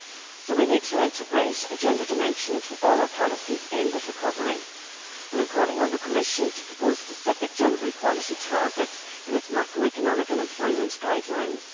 So we need to integrate a gender dimension into all our policies aimed at recovery, and I am calling on the Commission to propose specific gender equality targets in its macroeconomic and employment guidelines.